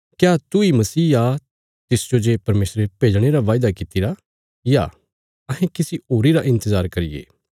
कने तिसने बोल्या क्या तूई मसीह आ तिसजो जे परमेशरे भेजणे रा वायदा कित्तिरा या अहें किसी होरी रा इन्तजार करिये